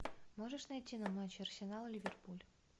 можешь найти нам матч арсенал ливерпуль